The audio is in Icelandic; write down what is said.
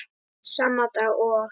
Sama dag og